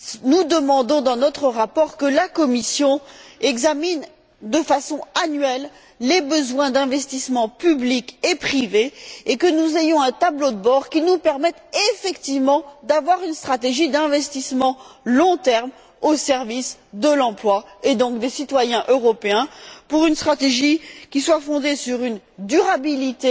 Nous demandons dans notre rapport que la Commission examine de façon annuelle les besoins d'investissements publics et privés et que nous ayons un tableau de bord qui nous permette effectivement d'avoir une stratégie d'investissement à long terme au service de l'emploi, et donc des citoyens européens, une stratégie qui soit fondée sur une durabilité